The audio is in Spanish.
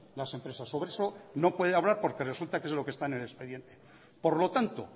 las empresas sobre eso no puede hablar porque resulta que es lo que está en el expediente por lo tanto